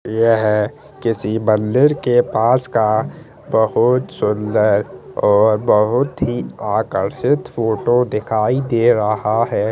यह किसी मंदिर के पास का बहुत सुन्दर और बहुत ही आकर्षित फोटो दिखाई दे रहा है।